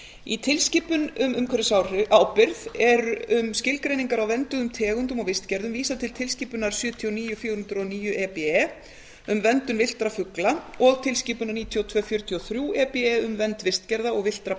í tilskipun um umhverfisábyrgð er um skilgreiningar á vernduðum tegundum og vistgerðum vísað til tilskipunar sjötíu og níu fjögur hundruð og níu e b e um verndun villtra fugla og tilskipunar níutíu og tveir fjörutíu og þrjú e b e um vernd vistgerða og villtra